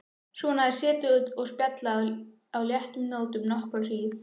Svona er setið og spjallað á léttum nótum nokkra hríð.